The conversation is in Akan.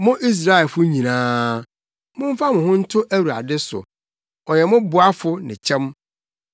Mo Israelfo nyinaa, momfa mo ho nto Awurade so, ɔyɛ mo boafo ne kyɛm.